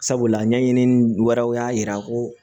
Sabula ɲɛɲinini wɛrɛw y'a jira ko